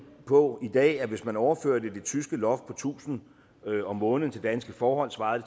på at hvis man overfører det tyske loft på tusind om måneden til danske forhold svarer